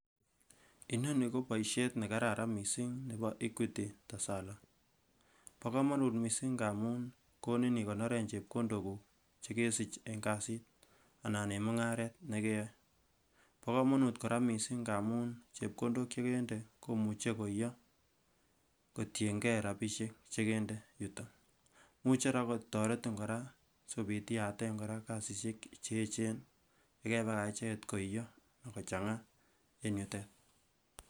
Inoni ko boisiet nekararan mising nepo Equity Tesala bokomonut mising ngamun konin ikonoren chepkondokuk chekesi en kasit anan en mung'aret nekeyoe ,bokomonut kora mising ngamun chepkondok chekendet komuche koiyo kotiengee rapisiek chekendet yuto, imuche kora kotoretin kora sikopit iyaten kasisiek cheechen yekepakach oot koiyo kochang'aa.